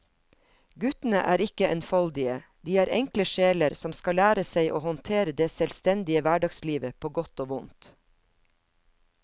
Guttene er ikke enfoldige, de er enkle sjeler som skal lære seg å håndtere det selvstendige hverdagslivet på godt og vondt.